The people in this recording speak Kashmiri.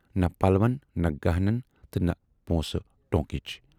نہَ پلون، نہَ گہنَن تہٕ نہَ پونسہٕ ٹوٗنکٕچ۔